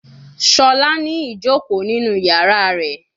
Shola ni ijoko ninu yara rẹ